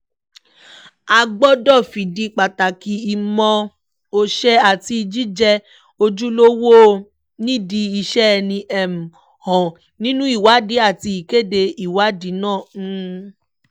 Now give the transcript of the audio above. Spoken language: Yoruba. a gbọ́dọ̀ fìdí pàtàkì ìmọ̀ọ́ṣe àti jíjẹ́ ojúlówó nídìí iṣẹ́ ẹni um hàn nínú ìwádìí àti ìkéde ìwádìí náà um